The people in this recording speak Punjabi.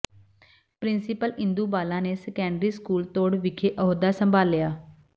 ਪਿੰ੍ਰਸੀਪਲ ਇੰਦੂ ਬਾਲਾ ਨੇ ਸੈਕੰਡਰੀ ਸਕੂਲ ਤੁੜ ਵਿਖੇ ਅਹੁਦਾ ਸੰਭਾਲਿਆ